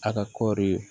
A ka kɔɔri